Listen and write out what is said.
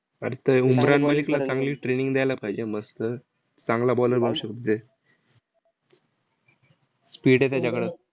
अरे त्या उमरान मलिकला चांगली training द्यायला पाहिजे मस्त. चांगला bowler बनू शकतो ते. speed आहे त्याच्याकडं.